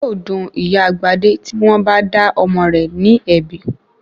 Yóò dun Ìyá Gbadé tí wọ́n bá dá ọmọ rẹ̀ ní ẹ̀bi.